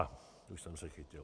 A už jsem se chytil.